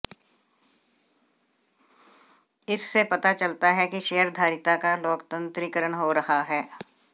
इससे पता चलता है कि शेयरधारिता का लोकतंत्रीकरण हो रहा है